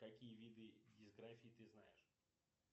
какие виды дисграфии ты знаешь